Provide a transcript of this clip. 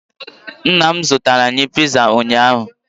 Nna m zụtara anyị piza ụnyaahụ